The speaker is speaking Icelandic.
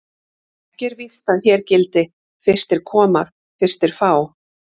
Ekki er víst að hér gildi: Fyrstir koma, fyrstir fá.